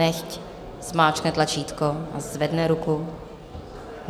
Nechť zmáčkne tlačítko a zvedne ruku.